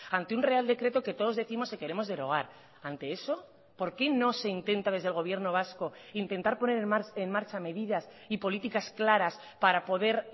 ante un real decreto que todos décimos que queremos derogar ante eso por qué no se intenta desde el gobierno vasco intentar poner en marcha medidas y políticas claras para poder